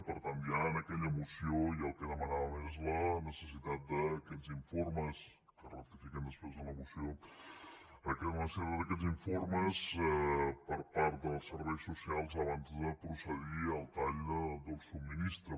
per tant ja en aquella moció el que demanàvem és la necessitat d’aquests informes que es ratifiquen després en la moció per part dels serveis socials abans de procedir al tall del subministrament